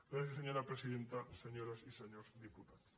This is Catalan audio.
gràcies senyora presidenta senyores i senyors diputats